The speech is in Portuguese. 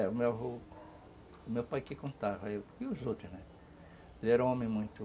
É, o meu avô, o meu pai que contava, e os outros, né, eles eram homens muito